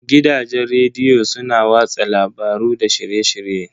Gidajen rediyo su na watsa labaru da shirye-shirye.